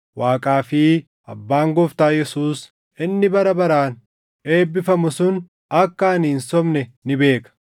Waaqaa fi Abbaan Gooftaa Yesuus inni bara baraan eebbifamu sun akka ani hin sobne ni beeka.